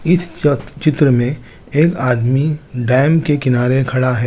इस चत-चित्र में एक आदमी बैंक के किनारे खड़ा है।